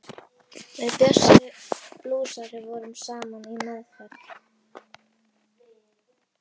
Við Bjössi blúsari vorum saman í meðferð.